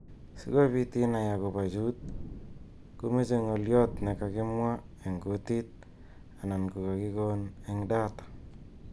Si kobit inei akobo chut komeche ng'olyot ne kakimwa eng kutit anan ko kakikon eng data.